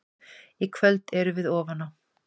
Í kvöld erum við ofan á.